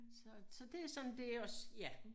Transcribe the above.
Så det sådan dét også ja